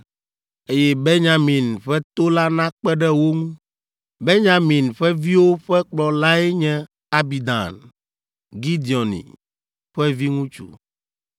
Eye Benyamin ƒe to la nakpe ɖe wo ŋu. Benyamin ƒe viwo ƒe kplɔlae nye Abidan, Gideoni ƒe viŋutsu,